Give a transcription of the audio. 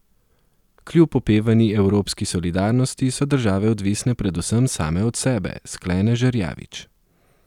Kljub opevani evropski solidarnosti so države odvisne predvsem same od sebe, sklene Žerjavič.